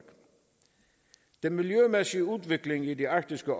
den miljømæssige udvikling i det arktiske